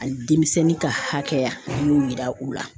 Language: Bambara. Hali denmisɛnnin ka hakɛya an y'o yira u la.